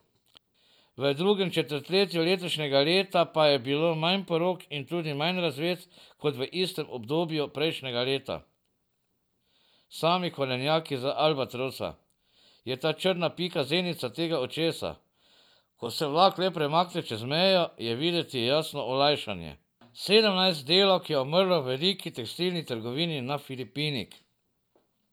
V drugem četrtletju letošnjega leta pa je bilo manj porok in tudi manj razvez kot v istem obdobju prejšnjega leta.